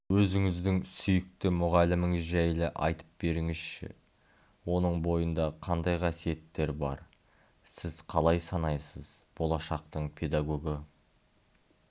өзіңіздің сүйікті мұғаліміңіз жайлы айтып беріңізші оның бойында қандай қасиеттер бар сіз қалай санайсыз болашақтың педагогы